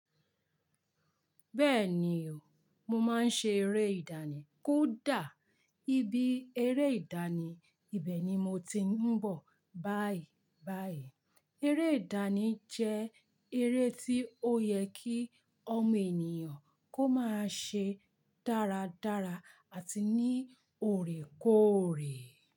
Bẹ́ẹ̀ni o, mo máa ń ṣe eré ìdánì. Kódà ibi eré ìdánì ibẹ̀ ni mo ti ń bọ̀ báyìí báyìí. Eré ìdánì jẹ́ eré tí ó yẹ kí ọmọ ènìyàn kó máa ṣe dáradára àti ní ọorẹ kóorẹ.